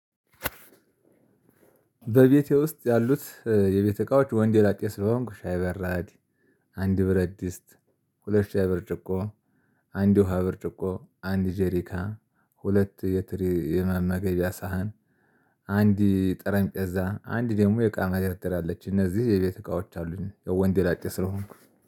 በቤቴ ውስጥ ያሉት የቤት እቃዎች ወንደ ላጤ ስለሆንኩ ሻይ በራድ አንድ ብረድስት ሁለት ሻይ ብርጭቆ አንድ የውሃ ብርጭቆ አንድ ጄሪካ ሁለት የትሪ የመመገቢያ ሳህን አንድ ጠረንጴዛ አንድ ደግሞ የእቃ መደርደሪያ አለች። እነዚህ የቤት እቃዎች አሉኝ ወንደ ላጤ ስለሆንኩኝ